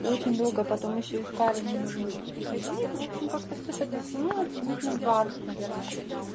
очень долго потом ещё искали мне нужен был переходник в общем как-то все так затянулось минут на двадцать наверное